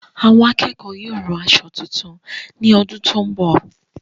Àwọn akẹ́kọ̀ọ́ yóò ràn aṣọ tuntun ní ọdún tó n bọ